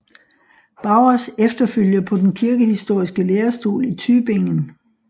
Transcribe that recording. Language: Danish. Baurs efterfølger på den kirkehistoriske lærestol i Tübingen